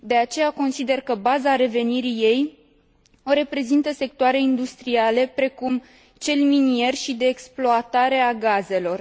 De aceea, consider că baza revenirii ei o reprezintă sectoare industriale precum cel minier și de exploatare a gazelor.